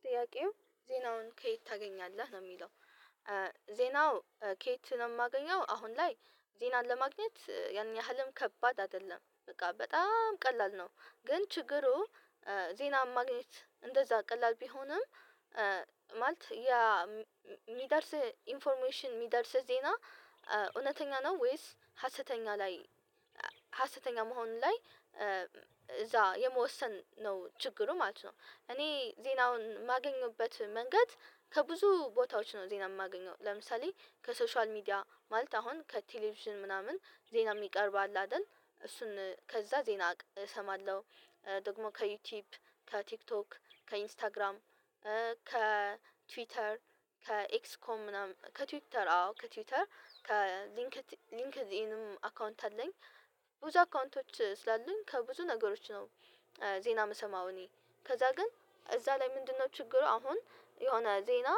ጥያቄው ዜናውን ከየት ታገኛለህ ነው? የሚለው ዜናው ከየት ነው የማገኘው አሁን ላይ ዜናን ለማግኘት ያን ያህልም ከባድ አይደለም በቃ በጣም ቀላል ነው። ግን ችግሩ ዜና ማግኘት እንደዛ ቀላል ቢሆንም ማለት ያ የሚደርስ ኢንፎርሜሽን የሚደርስ ዜና እውነተኛ ነው ወይስ ሀሰተኛ ላይ ሀሰተኛ መሆኑ ላይ እዛ የመወሰን ነው ችግሩ ማለት ነው። እኔ ዜናውን የማገኝበት መንገድ ከብዙ ቦታዎች ነው። ዜና የማገኘው ለምሳሌ ከሶሻል ሚድያ ማለት አሁን ከቴሌቪዥን ምናምን ዜና የሚቀርብ አለ አይደል እሱን ከዛ ዜና እሰማለሁ ደግሞ ከዩቲዩብ ከቲክቶክ ከኢንስታግራም ከትዊተር ከኤክስኮም ምናምን ከትዊተር አዎ ከትዊተር ከሊንክ ሊንክዲንም አካውንት አለኝ። ብዙ አካውንቶች ስላሉኝ ከብዙ ነገሮች ነው ዜና የምሰማው እኔ ከዛ ግን እዛ ላይ ምንድነው ችግሩ አሁን የሆነ ዜና።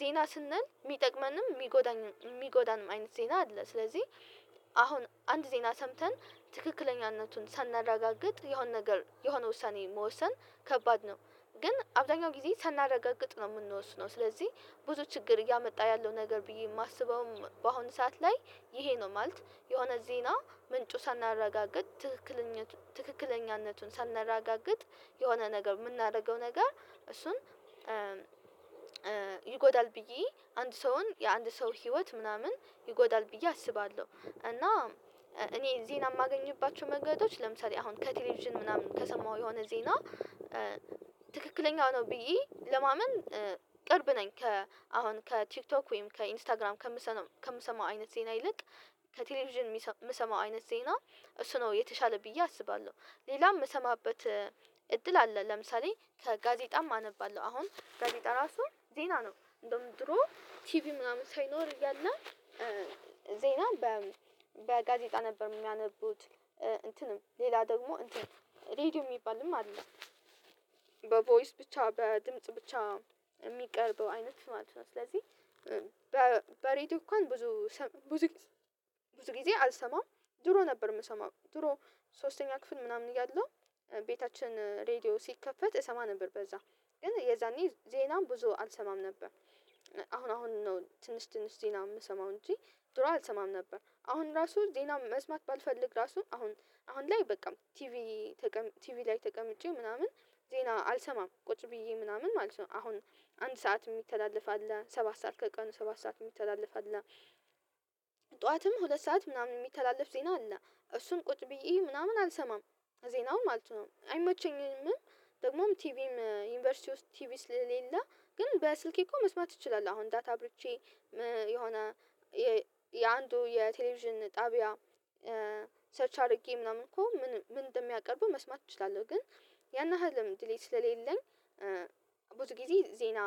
ዜና ስንል የሚጠቅመንም የሚጎዳንም አይነት ዜና አለ ስለዚህ አሁን አንድ ዜና ሰምተን ትክክለኛነቱን ሳናረጋግጥ የሆነ ነገር የሆነ ውሳኔ መወሰን ከባድ ነው። ግን አብዛኛው ጊዜ ሳናረጋግጥ ነው የምንወስነው ስለዚህ ብዙ ችግር እያመጣ ያለው ነገር ብዬ የማስበውም በአሁን ሰዓት ላይ ይሄ ነው ማለት የሆነ ዜና ምንጩ ሳናረጋግጥ ትክክለኛቱ ትክክለኛነቱን ሳናረጋግጥ የሆነ ነገር የምናደርገው ነገር እሱን ይጎዳል ብዬ አንድ ሰውን የአንድ ሰው ህይወት ምናምን ይጎዳል ብዬ አስባለሁ። እና እኔ ዜና የማገኝባቸው መንገዶች ለምሳሌ አሁን ከቴሌቪዥን ምናምን ከሰማሁ የሆነ ዜና ትክክለኛ ነው ብዬ ለማመን ቅርብ ነኝ ከ ከአሁን ከቲክቶክ ወይም ከኢንስታግራም ከምሰማም ከምሰማው አይነት ዜና ይልቅ ከቴሌቪዥን የምሰማው አይነት ዜና እሱ ነው የተሻለ ብዬ አስባለሁ። ሌላም የምሰማበት እድል አለ ለምሳሌ ከጋዜጣም አነባለሁ አሁን ጋዜጣ ራሱ ዜና ነው እንደውም ድሮ ቲቪ ምናምን ሳይኖር እያለ ዜና በጋዜጣ ነበር የሚያነቡት እንትንም ሌላ ደግሞ እንትን ሬድዮ የሚባልም አለ። በቮይስ ብቻ በድምጽ ብቻ የሚቀርበው አይነት ማለት ነው ስለዚህ በሬዲዮ እንኳን ብዙ ብዙ ብዙ ጊዜ አልሰማም። ድሮ ነበር የምሰማው ድሮ ሶስተኛ ክፍል ምናምን እያለሁ ቤታችን ሬድዮ ሲከፈት እሰማ ነበር በዛ ግን የዛኔ ዜናም ብዙ አልሰማም ነበር። አሁን አሁን ነው ትንሽ ትንሽ ዜና የምሰማው እንጂ ድሮ አልሰማም ነበር አሁን ራሱ ዜና መስማት ባልፈልግ ራሱ አሁን ላይ በቃ ቲቪ ቲቪ ላይ ተቀምጬ ምናምን ዜና አልሰማም ቁጭ ብዬ ምናምን ማለት ነው። አሁን አንድ ሰዓት የሚተላለፍ አለ ሰባት ሰዓት ከቀኑ ሰባት ሰዓት የሚተላለፍ አለ ጠዋትም ሁለት ሰዓት ምናምን የሚተላለፍ ዜና አለ እሱም ቁጭ ብዬ ምናምን አልሰማም ዜናው ማለት ነው አይመቸኝም። ደግሞም ቲቪም ዩኒቨርሲቲ ውስጥ ቲቪ ስለሌለ ግን በስልኬ እኮ መስማት እችላለሁ አሁን ዳታ አብርቼ የሆነ የአንዱ የቴሌቪዥን ጣቢያ ሰርች አድርጌ ምናምን እኮ ምን ምን እንደሚያቀርቡ መስማት እችላለሁ ግን ያን ያህልም ድሌት ስለሌለኝ ብዙ ጊዜ ዜና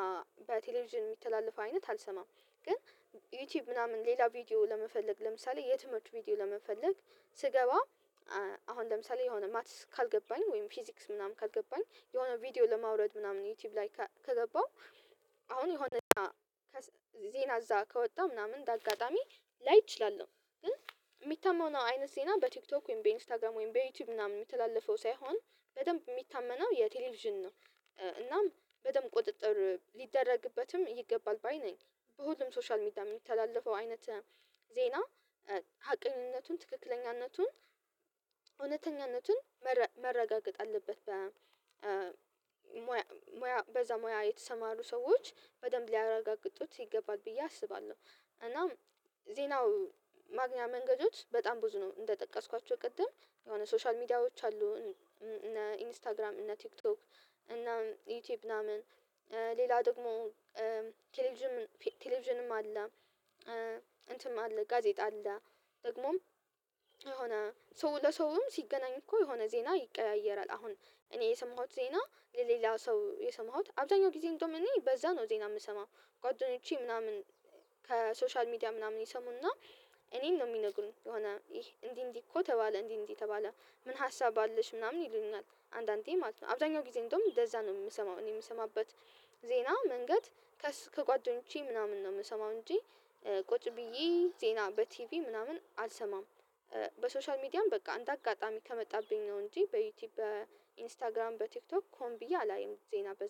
በቴሌቪዥን የሚተላለፈው አይነት አልሰማም። ግን ዩቲዩብ ምናምን ሌላ ቪዲዮ ለመፈለግ ለምሳሌ የትምህርት ቪዲዮ ለመፈለግ ስገባ አሁን ለምሳሌ የሆነ ማትስ ካልገባኝ ወይም ፊዚክስ ምናምን ካልገባኝ የሆነ ቪዲዮ ለማውረድ ምናምን ዩቲዩብ ላይ ከገባሁ አሁን የሆነ ዜና እዛ ከወጣ ምናምን እንደአጋጣሚ ላይ እችላለሁ ግን የሚታመነው አይነት ዜና በቲክቶክ ወይም በኢንስታግራም ወይም በዩቲዩብ ምናምን የሚተላለፈው ሳይሆን በደንብ የሚታመነው የቴሌቪዥን ነው። እናም በደንብ ቁጥጥር ሊደረግበትም ይገባል ባይ ነኝ በሁሉም ሶሻል ሚዲያ የሚተላለፈው አይነት ዜና ሀቀኝነቱን ትክክለኛነቱን እውነተኛነቱን መረጋገጥ አለበት በሙያ በዛ ሙያ የተሰማሩ ሰዎች በደንብ ሊያረጋግጡት ይገባል ብዬ አስባለሁ። እና ዜናው ማግኛ መንገዶች በጣም ብዙ ነው እንደጠቀስኳቸው ቅድም የሆነ ሶሻል ሚዲያዎች አሉ እነ ኢንስታግራም እነ ቲክቶክ እነ ዩቲዩብ ምናምን ሌላ ደግሞ ቴሌቪዥን ቴሌቪዥንም አለ እንትም አለ ጋዜጣ አለ። ደግሞም የሆነ ሰው ለሰውም ሲገናኝ እኮ የሆነ ዜና ይቀያየራል አሁን እኔ የሰማሁት ዜና ለሌላው ሰው የሰማሁት አብዛኛው ጊዜ እንደውም እኔ በዛ ነው ዜና የምሰማው ጓደኞቼ ምናምን ከሶሻል ሚዲያ ምናምን ይሰሙና እኔን ነው የሚነግሩኝ የሆነ ይሄ እንዲህ እንዲህ እኮ ተባለ እንዲህ እንዲህ ተባለ ምን ሀሳብ አለሽ ምናምን ይሉኛል አንዳንዴ ማለት ነው? አብዛኛው ጊዜ እንደውም እንደዛ ነው የምሰማው እኔ የምሰማበት ዜና መንገድ ከጓደኞቼ ምናምን ነው የምሰማው እንጂ ቁጭ ብዬ ዜና በቲቪ ምናምን አልሰማም። በሶሻል ሚዲያም በቃ እነደ አጋጣሚ ከመጣብኝ ነው እንጂ በዩቲዩብ በኢንስታግራም በቲክቶክ ሆን ብዬ አላይም ዜና በዝ